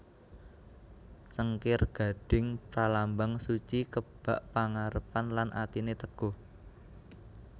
Cengkir gading pralambang suci kebak pangarepan lan atiné teguh